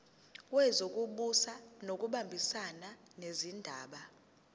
wezokubusa ngokubambisana nezindaba